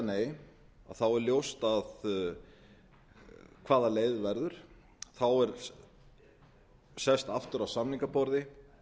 nei þá er ljóst hvaða leið verður þá er sest aftur að samningaborði